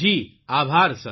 જી આભાર સર